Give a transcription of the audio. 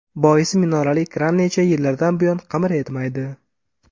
Boisi, minorali kran necha yillardan buyon qimir etmaydi.